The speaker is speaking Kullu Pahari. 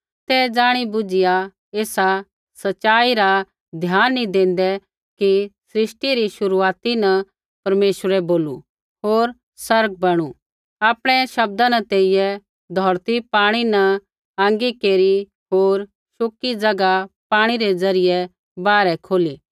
ते ज़ाणि बुझ़िया एसा सच़ाई रा ध्यान नी देंदै कि सृष्टि री शुरूआती न परमेश्वरै बोलू होर आसमान बणू आपणै शब्दा न तेइयै धौरती पाणी न अलग केरी होर शुकी ज़ैगा पाणी रै ज़रियै बाहरै खोली